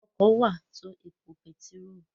Ọkọ wà tó ẹpo pẹtiró.